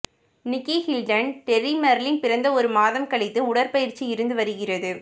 நிக்கி Hilton Terry Marlin பிறந்த ஒரு மாதம் கழித்து உடற்பயிற்சி இருந்து வருகிறது